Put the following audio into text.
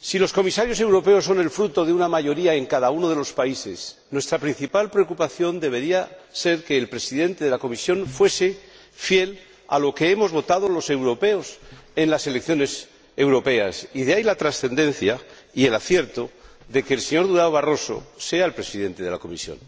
Si los Comisarios europeos son el fruto de una mayoría en cada uno de los países, nuestra principal preocupación debería ser que el Presidente de la Comisión fuese fiel a lo que hemos votado los europeos en las elecciones europeas, y de ahí, la trascendencia y el acierto de que el señor Durão Barroso sea el Presidente de la Comisión.